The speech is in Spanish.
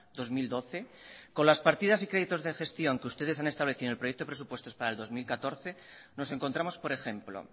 dos mil doce con las partidas y créditos de gestión que ustedes han establecido en el proyecto de presupuestos para el dos mil catorce nos encontramos por ejemplo